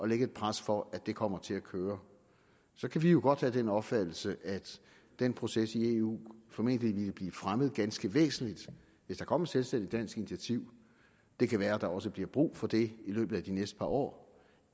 lægge et pres for at det kommer til at køre så kan vi jo godt have den opfattelse at den proces i eu formentlig ville blive fremmet ganske væsentligt hvis der kom et selvstændigt dansk initiativ det kan være at der også bliver brug for det i løbet af de næste par år